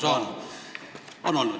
Jaa, on olnud.